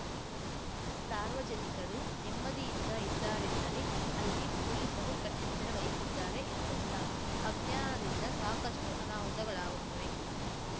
ಸಾರ್ವಜನಿಕರು ನೆಮ್ಮದಿಯಿಂದ ಇದ್ದಾರೆಂದರೆ ಅಲ್ಲಿ ಪೊಲೀಸರು ಕಟ್ಟೆಚ್ಚರ ವಹಿಸಿದ್ದಾರೆ ಎಂದರ್ಥ ಅಜ್ಞಾನದಿಂದ ಸಾಕಷ್ಟುಅನಾಹುತಗಳಾಗುತ್ತವೆ